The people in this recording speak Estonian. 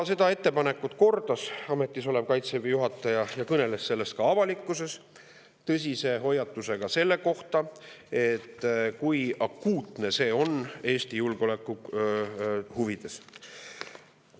Seda ettepanekut Kaitseväe juhataja kordas ja kõneles sellest, esinedes ka avalikkuse ees tõsise hoiatusega, kui akuutne see on Eesti julgeoleku huvides.